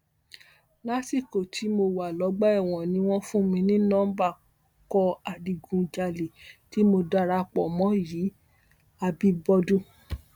lásìkò tí mo wà lọgbà ẹwọn ni wọn fún mi ní nọmba ikọ adigunjalè tí mo darapọ mọ yìí àbíbọdún